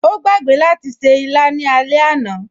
O gbàgbé láti ṣe ìlà ní alẹ́ àná